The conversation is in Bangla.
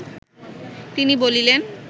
তিনি বলিলেন